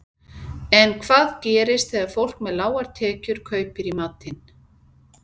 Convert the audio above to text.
En hvað gerist þegar fólk með lágar tekjur kaupir í matinn?